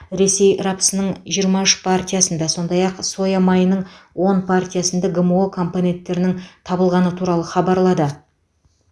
ресей рапсының жиырма үш партиясында сондай ақ соя майының он партиясында гмо компоненттерінің табылғаны туралы хабарлады